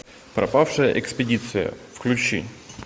пропавшая экспедиция включи